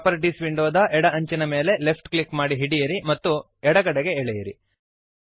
properties ವಿಂಡೋದ ಎಡ ಅಂಚಿನ ಮೇಲೆ ಲೆಫ್ಟ್ ಕ್ಲಿಕ್ ಮಾಡಿ ಹಿಡಿಯಿರಿ ಮತ್ತು ಎಡಗಡೆಗೆ ಎಳೆಯಿರಿ